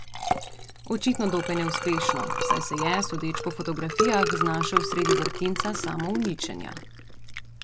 Očitno dokaj neuspešno, saj se je, sodeč po fotografijah, znašel sredi vrtinca samouničenja.